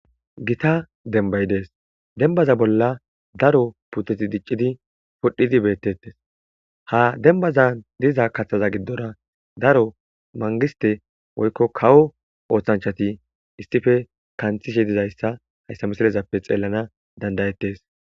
gita denbay dees dembaza bolla daro puteti diccidi pudhdhidi beettettes ha dembaza diza kaththaza giddora daro mangiste woykko kawo ooththanchati istife kanthishe dizayssa hayssa misilezappe xeellana dandayettes